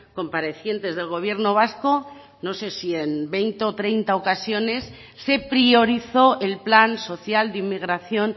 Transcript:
comparecientes del gobierno vasco no sé si en veinte o treinta ocasiones se priorizó el plan social de inmigración